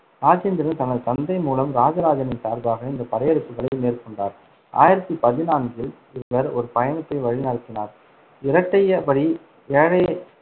இராஜேந்திரன் தனது தந்தை மூலம் இராஜராஜனின் சார்பாக இந்தப் படையெடுப்புகளை மேற்கொண்டார். ஆயிரத்தி பதிநான்கில் அவர் ஒரு பயணத்தை வழிநடத்தினார். இரட்டையபடி ஏழ~